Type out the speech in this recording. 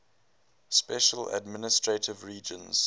special administrative regions